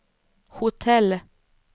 hotell